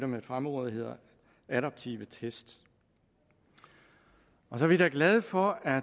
med et fremmedord hedder adaptive test så er vi da glade for at